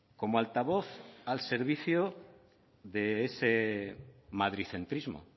como altavoz al servicio de ese madridcentrismo